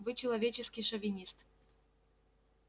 вы человеческий шовинист